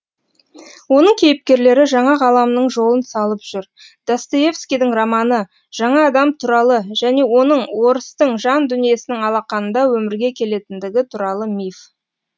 оның кейіпкерлері жаңа ғаламның жолын салып жүр достоевскийдің романы жаңа адам туралы және оның орыстың жан дүниесінің алақанында өмірге келетіндігі туралы миф